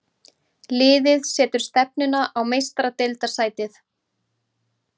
Liðið setur stefnuna á Meistaradeildarsæti.